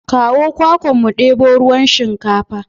Kawo kwakwan mu ɗebo ruwan shinkafar.